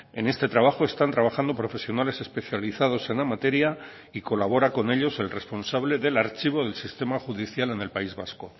en este trabajo están trabajando profesionales especializados en la materia y colabora con ellos el responsable del archivo del sistema judicial en el país vasco